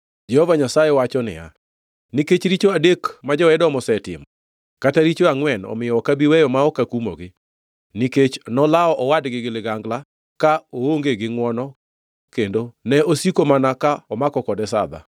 Jehova Nyasaye wacho niya, “Nikech richo adek ma jo-Edom osetimo, kata richo angʼwen, omiyo ok abi weyo ma ok akumogi. Nikech nolawo owadgi gi ligangla ka oonge gi ngʼwono, kendo ne osiko mana ka omako kode sadha,